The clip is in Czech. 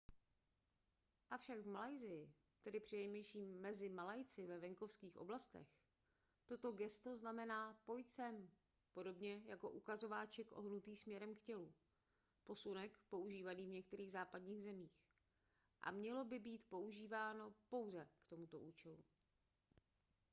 avšak v malajsii tedy přinejmenším mezi malajci ve venkovských oblastech toto gesto znamená pojď sem podobně jako ukazováček ohýbaný směrem k tělu posunek používaný v některých západních zemích a mělo by být používáno pouze k tomuto účelu